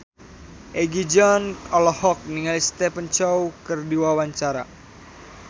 Egi John olohok ningali Stephen Chow keur diwawancara